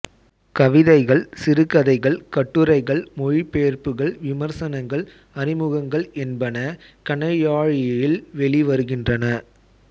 கவிதைகள் சிறுகதைகள் கட்டுரைகள் மொழிபெயர்ப்புகள் விமர்சனங்கள் அறிமுகங்கள் என்பன கணையாழியில் வெளிவருகின்றன